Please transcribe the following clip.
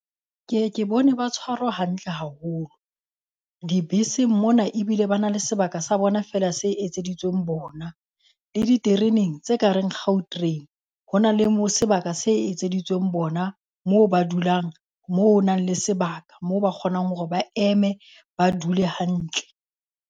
Ke e ke bone ba tshwarwa hantle haholo. Dibeseng mona ebile ba na le sebaka sa bona feela se etseditsweng bona. Le ditereneng tse kareng Gautrain, hona le mo sebaka se etseditsweng bona moo ba dulang moo o nang le sebaka moo ba kgonang hore ba eme ba dule hantle.